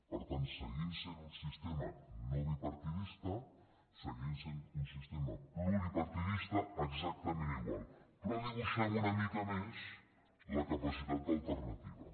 per tant seguim sent un sistema no bipartidista seguim sent un sistema pluripartidista exactament igual però dibuixem una mica més la capacitat d’alternativa